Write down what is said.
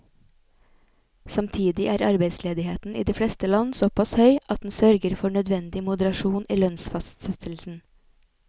Samtidig er arbeidsledigheten i de fleste land såpass høy at den sørger for nødvendig moderasjon i lønnsfastsettelsen.